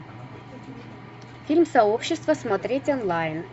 фильм сообщество смотреть онлайн